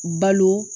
Balo